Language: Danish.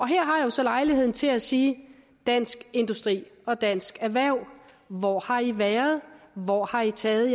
her har jeg så lejlighed til at sige dansk industri og dansk erhverv hvor har i været hvor har i taget